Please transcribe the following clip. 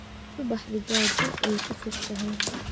Subaxdii gaajo way ka fog tahay